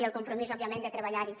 i el compromís òbviament de treballar hi